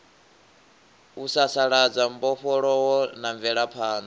u sasaladza mbofholowo na mvelaphanḓa